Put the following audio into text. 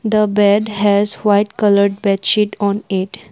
the bed has white coloured bed sheet on it.